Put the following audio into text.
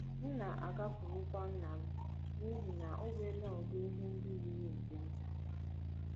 M na - agakwurukwa nna m n’ihi na o nwela udị ihe ndị yiri nke m.